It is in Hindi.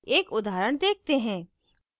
एक उदाहरण देखते हैं